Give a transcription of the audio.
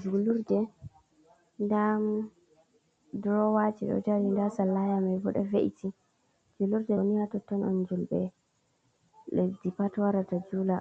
Julurde da drowaji ɗo jeri nda sallaya maibo do ve’iti. Julurde o niha totton an julbe leddi pat warata jula